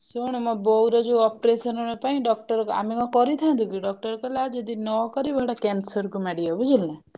ଶୁଣୁ ମୋ ବୋଉର ଯଉ operation ପାଇଁ doctor ଆମେ କଣ କରିଥାନ୍ତୁକି doctor କହିଲା ଯଦି ନ କରିବ ଏଇଟା କ୍ଯାନ୍ସର କୁ ମାଡ଼ିବ ବୁଝିଲୁ ନା।